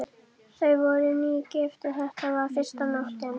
Þau voru nýgift og þetta var fyrsta nóttin.